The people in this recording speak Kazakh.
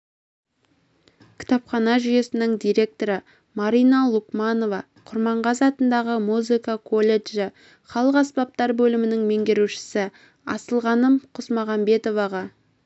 кітапхана жүйесінің директоры марина лукманова құрманғазы атындағы музыка колледжі халық аспаптар бөлімінің меңгерушісі асылғаным құсмағамбетоваға